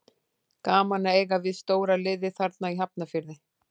Gaman að eiga við stóra liðið þarna í Hafnarfirði.